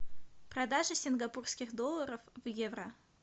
продажа сингапурских долларов в евро